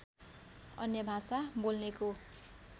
अन्य भाषा बोल्नेको